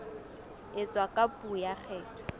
etswa ka puo ya kgetho